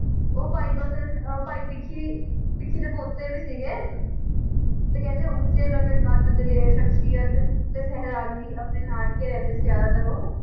ਉਹ ਭਾਈ ਬਸਨ, ਭਾਈ ਭੀਖੀ ਦੇ ਪੋਤੇ ਵੀ ਸਿਗੇ ਤੇ ਕਹਿੰਦੇ ਉੱਚੇ ਲੰਬੇ ਕੱਦ ਦਲੇਰ ਸ਼ਖਸੀਅਤ ਤੇ ਸਹਰਾਲੀ ਆਪਣੇ ਨਾਨਕੇ ਰਹਿੰਦੇ ਸੀ ਜਾਦਾ ਤਰ ਓਹ